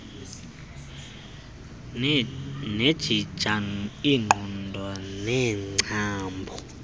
nejingja iinqoba neengcambu